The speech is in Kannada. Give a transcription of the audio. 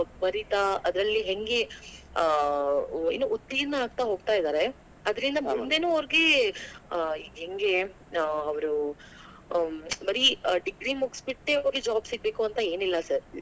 ಬರೀತಾ ಅದರಲ್ಲಿ ಹೆಂಗೆ ಆ ಉತ್ತೀರ್ಣ ಆಗ್ತಾ ಹೋಗ್ತಾಯಿದಾರೆ ಅದರಿಂದ ಮುಂದೇನೂ ಅವರಿಗೆ ಹಾ ಹೆಂಗೆ ಆ ಅವ್ರು degree ಮುಗಿಸಿಬಿಟ್ಟೆ ಅವರಿಗೆ job ಸಿಗ್ಬೇಕು ಅಂತ ಏನಿಲ್ಲಾ sir .ಆ ಬರೀ degree ಮುಗಿಸಿಬಿಟ್ಟೆ ಅವರಿಗೆ job ಸಿಗ್ಬೇಕು ಅಂತ ಏನಿಲ್ಲಾ sir .